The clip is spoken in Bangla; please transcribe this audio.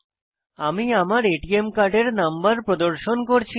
আমি আমার এটিএম কার্ডের নম্বর প্রদর্শন করছি না